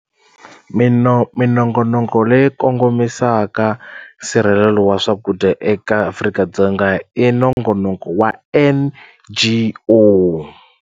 minongonoko leyi kongomisa nsirhelelo wa swakudya eka Afrika-Dzonga i nongonoko wa N_G_O.